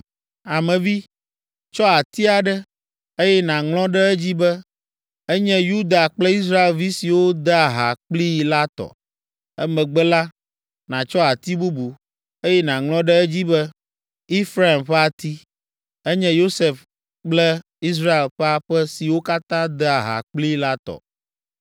“Ame vi, tsɔ ati aɖe, eye nàŋlɔ ɖe edzi be, ‘Enye Yuda kple Israelvi siwo dea ha kplii la tɔ.’ Emegbe la, nàtsɔ ati bubu, eye nàŋlɔ ɖe edzi be, ‘Efraim ƒe ati, enye Yosef kple Israel ƒe aƒe siwo katã dea ha kplii la tɔ.’